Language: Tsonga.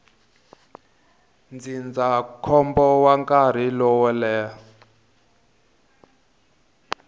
ndzindzakhombo wa nkarhi lowo leha